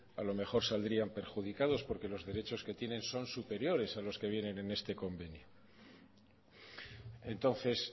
a lo mejor saldrían perjudicados porque los derechos que tienen son superiores a los que vienen en este convenio entonces